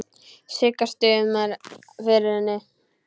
Sigga stumrar yfir henni.